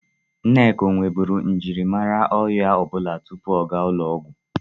Nneka o nweburu mjiri amara ọrịa ọbụla tupu ọ ga ụlọọgwọ?